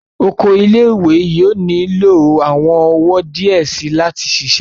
Oko ile-iwe yóò nilo awọn ọwọ diẹ sii lati ṣiṣẹ